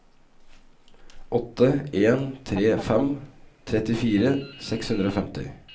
åtte en tre fem trettifire seks hundre og femti